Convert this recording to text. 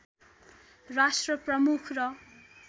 राष्ट्र प्रमुख र